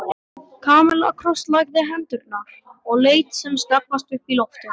Kamilla krosslagði hendurnar og leit sem snöggvast upp í loftið.